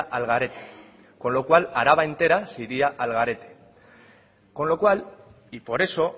al garete con lo cual araba entera se iría al garete con lo cual y por eso